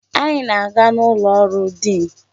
Anyị na-aga n'ụlọ ọrụ diin.